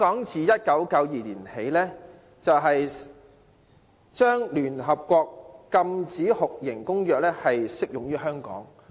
自1992年起，聯合國禁止酷刑公約適用於香港。